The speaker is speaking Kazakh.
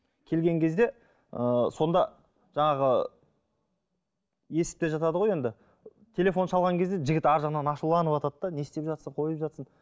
келген кезде ыыы сонда жаңағы естіп те жатады ғой енді телефон шалған кезде жігіт арғы жағынан ашуланыватады да не істеп жатсың қойып жатсың